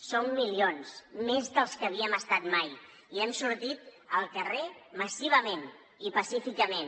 som milions més dels que havíem estat mai i hem sortit al carrer massivament i pacíficament